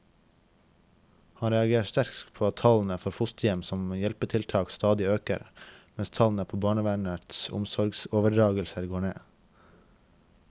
Han reagerer sterkt på at tallene for fosterhjem som hjelpetiltak stadig øker, mens tallene på barnevernets omsorgsoverdragelser går ned.